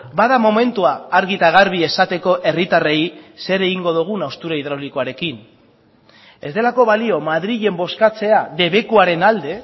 bada momentua argi eta garbi esateko herritarrei zer egingo dugun haustura hidraulikoarekin ez delako balio madrilen bozkatzea debekuaren alde